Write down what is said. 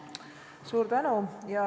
Suur tänu!